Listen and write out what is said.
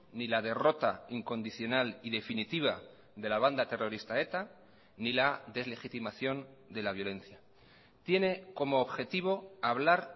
ni la derrota incondicional y definitiva de la banda terrorista eta ni la deslegitimación de la violencia tiene como objetivo hablar